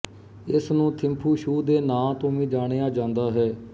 ਇਸ ਨੂੰ ਥਿੰਫੂ ਛੂ ਦੇ ਨਾਂ ਤੋਂ ਵੀ ਜਾਣਿਆ ਜਾਂਦਾ ਹੈ